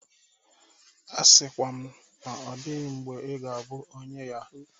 A sịkwa na ọ dịghị mgbe ị ga-abụ onye yahoo!